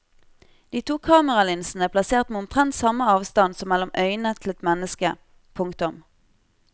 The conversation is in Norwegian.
De to kameralinsene er plassert med omtrent samme avstand som mellom øynene til et menneske. punktum